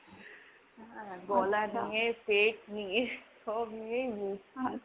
গলা নিয়ে, পেট নিয়ে সব নিয়ে .